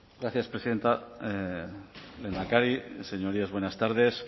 gracias presidenta lehendakari señorías buenas tardes